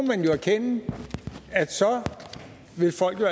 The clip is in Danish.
erkende at så kan folk jo